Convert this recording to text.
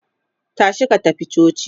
tashi ka tafi coci!